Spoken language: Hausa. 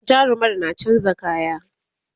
jarumar na chanza kaya